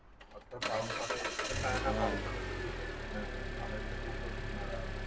फक्त पावसाळा तर खूपच